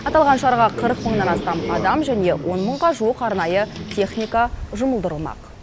аталған шараға қырық мыңнан астам адам және он мыңға жуық арнайы техника жұмылдырылмақ